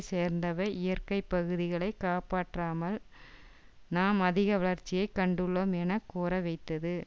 சேர்ந்த வை இயற்கை பகுதிகளை காப்பாற்றாமல் நாம் அதிக வளர்ச்சியை கண்டுள்ளோம் என கூற வைத்தது